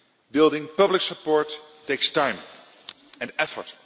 wand. Building public support takes time and effort.